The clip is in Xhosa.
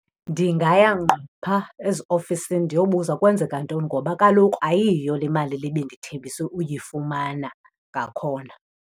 Ndingaya ngqo pha eziofisini ndiyobuza kwenzeka ntoni ngoba kaloku ayiyo le mali le bendithembiswe uyifumana ngakhona.